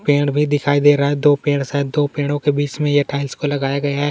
एक पेड़ भी दिखाई दे रहा है दो पेड़ शायद दो पेड़ के बीच में ये टाइल्स को लगाया गया है।